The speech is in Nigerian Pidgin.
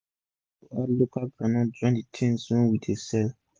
we dey plan to add local groundnut oil join d tins wey we dey sell